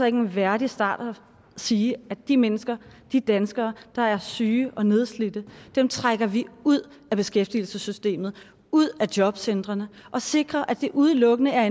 en værdig start at sige at de mennesker de danskere der er syge og nedslidte trækker vi ud af beskæftigelsessystemet ud af jobcentrene og sikrer at det udelukkende er